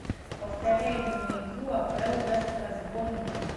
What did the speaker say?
повторяй мне игру апл лестера с борнмутом